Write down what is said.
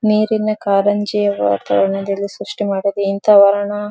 ನೀರಿನ ಕಾರಂಜಿಯ ವಾತಾವರಣ ಸ್ರಷ್ಟಿ ಮಾಡಿದೆ ಇಂತ ವರ್ಣ.